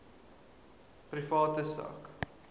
private sak